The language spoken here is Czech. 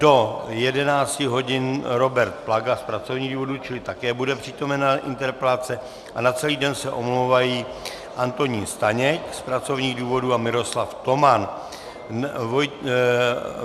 Do 11.00 hodin Robert Plaga z pracovních důvodů, čili také bude přítomen na interpelace, a na celý den se omlouvají Antonín Staněk z pracovních důvodů a Miroslav Toman.